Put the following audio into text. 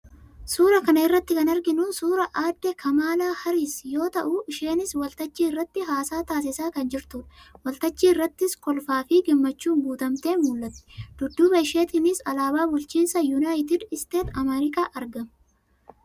Suuraa kana irratti kan arginu suuraa aadde Kamaalaa Haaris yoo ta'u, isheenis waltajjii irratti haasaa taasisaa kan jirtudha. Waltajjii irrattis kolfaa fi gammachuun guutamtee mul'atti. Dudduuba isheetiinis alaabaa bulchiinsa Yunaayitid Isteet Ameerikaa argama.